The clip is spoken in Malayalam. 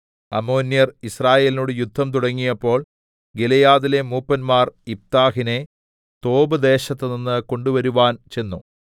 അമ്മോന്യർ യിസ്രായേലിനോട് യുദ്ധം തുടങ്ങിയപ്പോൾ ഗിലെയാദിലെ മൂപ്പന്മാർ യിഫ്താഹിനെ തോബ് ദേശത്തുനിന്ന് കൊണ്ടുവരുവാൻ ചെന്നു